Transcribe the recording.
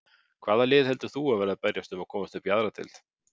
Hvaða lið heldur þú að verði að berjast um að komast upp í aðra deild?